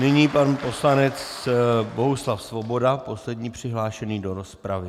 Nyní pan poslanec Bohuslav Svoboda, poslední přihlášený do rozpravy.